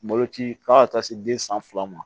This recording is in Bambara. Malo ci fo ka taa se den san fila ma